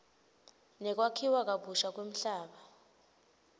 nekwakhiwa kabusha kwemhlaba